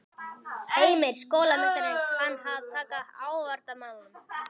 Heimir: Skólameistari kann að taka á agavandamálum?